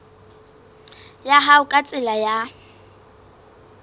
ya hao ka tsela ya